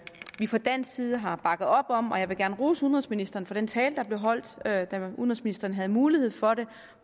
fra dansk side har bakket op om og jeg vil gerne rose udenrigsministeren for den tale der blev holdt da udenrigsministeren havde mulighed for det